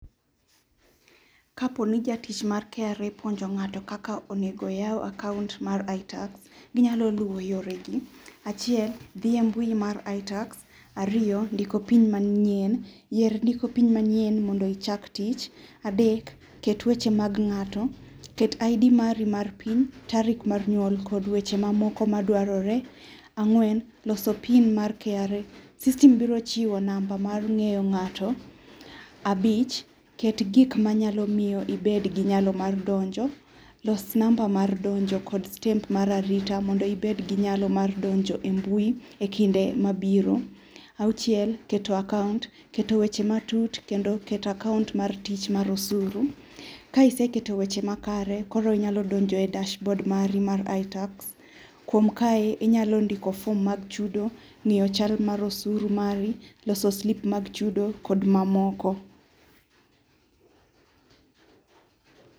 Kaponi jatich mar KRA puonjo ng'ato kaka onego oyao akaunt mar Itax, ginyalo luwo yore gi, gidhi e mbui mar itax, ariyo ndiko pin manyien, yier ndiko pin manyien mondo ichak tich. Adek ket weche mag ng'ato ket ID mari mar piny, tarik mar nyuol kod weche mamoko madwarore. Ang'wen, loso pin mar KRA, system biro chiwo namba mar ngeyo ngato. Abich, ket gik manyalo miyo obed gi nyalo mar donjo, los namba mar donjo kod step mar arita mondo obed gi nyalo mar donjo e mbui e kinde mabiro. Auchiel, keto akaunt, keto weche matut kendo keto akaunt mar osuru, ka iseketo weche makare koro inyalo donjoe akaunt mari mar itax, kuom kae ,inyalo ndiko form mag chudo ,ngiyo chal mar osuru mari loso slip mag chudo kod mamoko